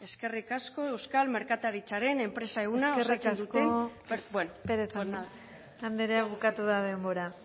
eskerrik asko euskal merkataritzaren enpresa eskerrik asko pérez andrea bukatu da denbora